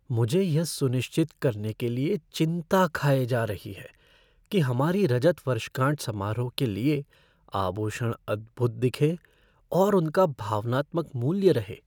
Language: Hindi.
मुझे यह सुनिश्चित करने के लिए चिंता खाए जा रही है कि हमारी रजत वर्षगांठ समारोह के लिए आभूषण अद्भुत दिखें और उनका भावनात्मक मूल्य रहे।